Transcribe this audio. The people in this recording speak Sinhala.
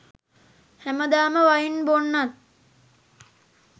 හැමදාම වයින් බොන්නත්